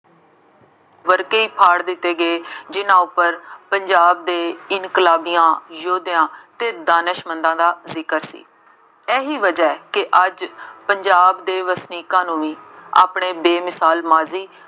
ਵਰਕੇ ਹੀ ਫਾੜ ਦਿੱਤੇ ਗਏ ਜਿੰਨ੍ਹਾ ਉੱਪਰ ਪੰਜਾਬ ਦੇ ਇਨਕਲਾਬੀਆਂ, ਯੋਧਿਆਂ ਅਤੇ ਦਾਨਿਸ਼ ਮੰਦਾਂ ਦਾ ਜ਼ਿਕਰ ਸੀ। ਇਹੀ ਵਜ੍ਹਾ ਕਿ ਅੱਜ ਪੰਜਾਬ ਦੇ ਵਸਨੀਕਾਂ ਨੂੰ ਵੀ ਆਪਣੇ ਬੇਮਿਸਾਲ ਮਾਝੀ